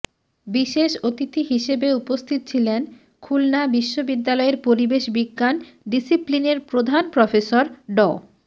বিশেষ অতিথি হিসেবে উপস্থিত ছিলেন খুলনা বিশ্ববিদ্যালয়ের পরিবেশ বিজ্ঞান ডিসিপ্লিনের প্রধান প্রফেসর ড